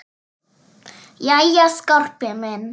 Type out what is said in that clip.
Jæja, Skarpi minn.